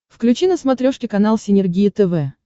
включи на смотрешке канал синергия тв